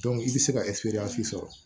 i bɛ se ka sɔrɔ